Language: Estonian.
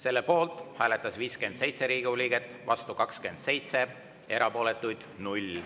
Selle poolt hääletas 57 Riigikogu liiget, vastu 27, erapooletuid 0.